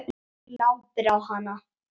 Glápir á hana.